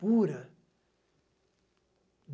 Pura.